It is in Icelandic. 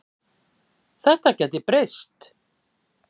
Þetta gæti breyst.